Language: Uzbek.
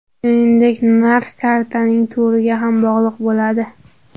Shuningdek narx kartaning turiga ham bog‘liq bo‘ladi .